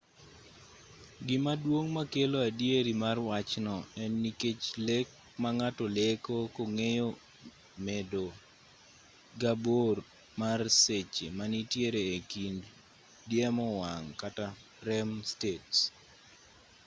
gima duong' makelo adieri mar wachno en nikech lek ma ng'ato leko kong'eyo medo ga bor mar seche manitiere e kind diemo wang' kata rem states